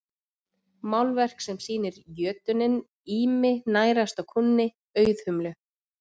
málverk sem sýnir jötuninn ými nærast á kúnni auðhumlu